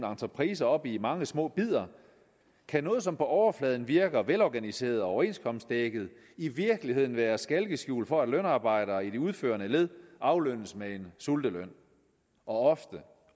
entrepriser op i mange små bidder kan noget som på overfladen virker velorganiseret og overenskomstdækket i virkeligheden være et skalkeskjul for at lønarbejdere i det udførende led aflønnes med en sulteløn og ofte